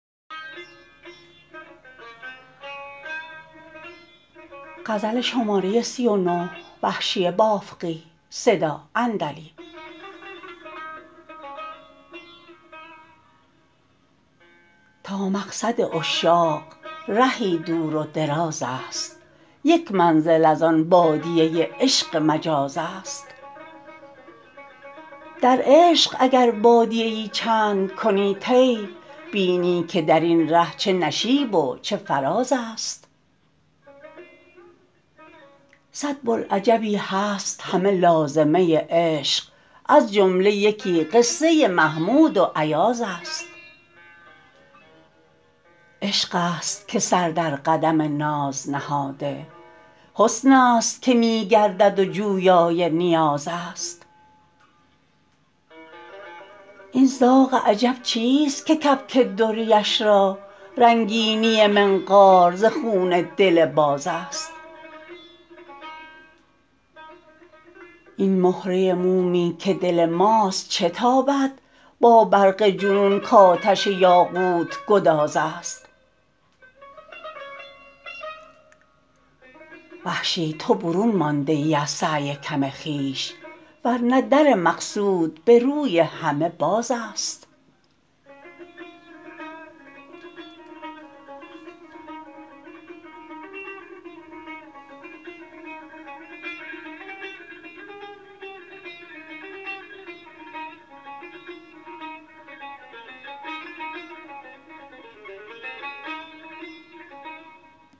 تا مقصد عشاق رهی دور و دراز است یک منزل از آن بادیه عشق مجاز است در عشق اگر بادیه ای چند کنی طی بینی که در این ره چه نشیب و چه فراز است سد بلعجبی هست همه لازمه عشق از جمله یکی قصه محمود و ایاز است عشق است که سر در قدم ناز نهاده حسن است که می گردد و جویای نیاز است این زاغ عجب چیست که کبک دریش را رنگینی منقار ز خون دل باز است این مهره مومی که دل ماست چه تابد با برق جنون کاتش یاقوت گداز است وحشی تو برون مانده ای از سعی کم خویش ورنه در مقصود به روی همه باز است